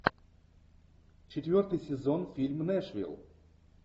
четвертый сезон фильм нэшвилл